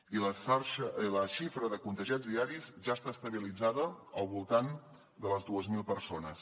i la xifra de contagiats diaris ja està estabilitzada al voltant de les dues mil persones